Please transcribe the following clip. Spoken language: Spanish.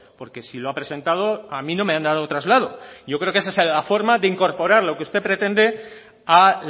porque si lo ha presentado a mí no me han dado traslado yo creo que esa es la forma de incorporar lo que usted pretende a